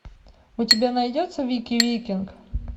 у тебя найдется вики викинг